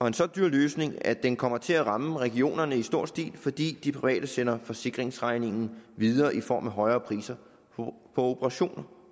en så dyr løsning at den kommer til at ramme regionerne i stor stil fordi de private sender forsikringsregningen videre i form af højere priser på operationer